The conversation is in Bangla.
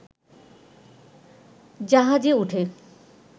জাহাজে উঠে